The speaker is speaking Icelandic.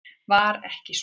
Var ekki svo?